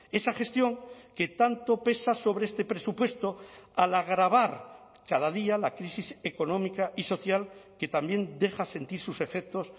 esa gestión que tanto pesa sobre este presupuesto al agravar cada día la crisis económica y social que también deja sentir sus efectos